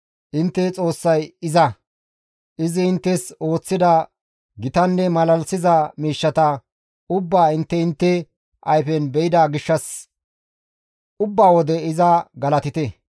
Intte Xoossay iza; izi inttes ooththida gitanne malalisiza miishshata ubbaa intte intte ayfen be7ida gishshas ubba wode iza galatite.